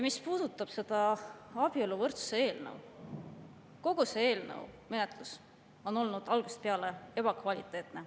Mis puudutab seda abieluvõrdsuse eelnõu, siis kogu selle eelnõu menetlus on olnud algusest peale ebakvaliteetne.